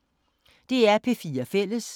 DR P4 Fælles